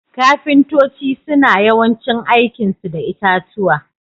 Ƙafintoci suna yawancin aiki su da itatuwa.